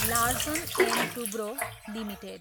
Larsen and Toubro limited